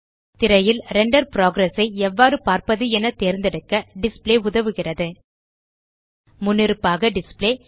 திரையில் render progress ஐ எவ்வாறு பார்ப்பது என தேர்ந்தெடுக்க டிஸ்ப்ளே உதவுகிறது முன்னிருப்பாக டிஸ்ப்ளே